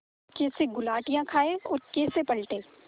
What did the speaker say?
कैसे गुलाटियाँ खाएँ और कैसे पलटें